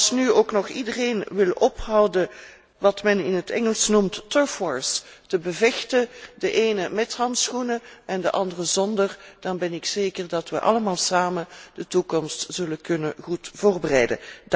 Als nu ook nog iedereen wil ophouden met wat men in het Engels noemt, uit te vechten de ene met handschoenen en de andere zonder dan ben ik zeker dat we allemaal samen de toekomst goed zullen kunnen voorbereiden.